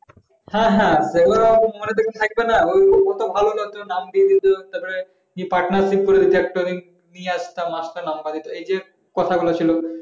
হ্যাঁ হ্যাঁ ভালো একজন নাম দিয়ে দিয়েছে তারপর পাঠান দেখব মাস্টারের নাম্বার নিয়ে যে কথা বলছিলম